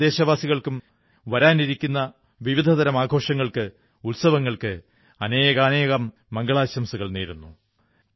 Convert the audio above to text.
ഞാൻ എല്ലാ ദേശവാസികൾക്കും വരാനിരിക്കുന്ന വിവിധതരം ആഘോഷങ്ങൾക്ക് ഉത്സവങ്ങൾക്ക് അനേകാനേകം മംഗളാശംസകൾ നേരുന്നു